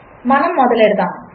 మనముమొదలుపెడదాము